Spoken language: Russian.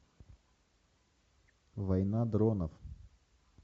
война дронов